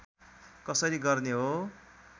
कसरी गर्ने हो